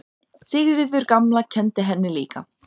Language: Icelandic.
Sigríður gamla kenndi henni líka.